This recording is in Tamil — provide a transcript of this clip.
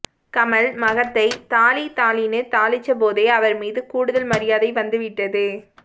கமல் மகத்தை தாளி தாளின்னு தாளிச்சபோதே அவர் மீது கூடுதல் மரியாதை வந்துவிட்டது